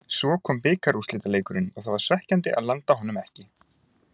Svo kom bikarúrslitaleikurinn og það var svekkjandi að landa honum ekki.